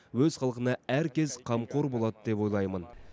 өз халқына әр кез қамқор болады деп ойлаймын